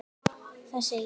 Það segir: